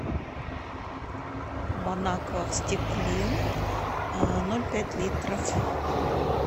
бонаква в стекле ноль пять литров